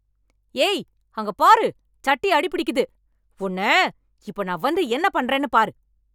ஏய் அங்க பாரு சட்டி அடி பிடிக்குது உன்னை இப்ப நான் வந்து என்ன பண்றேன்னு பாரு